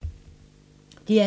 DR2